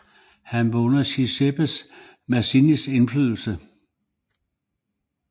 Han var under Giuseppe Mazzinis indflydelse